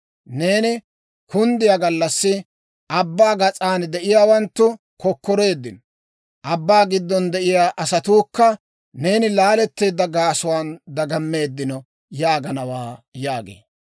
Neeni kunddiyaa gallassi, abbaa gas'aan de'iyaawanttu kokkoreeddino. Abbaa giddon de'iyaa asatuukka, neeni laaleteedda gaasuwaan dagammeeddino› yaaganawaa yaagee.